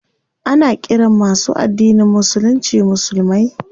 Ana ƙiran masu addinin musulunci musulmai.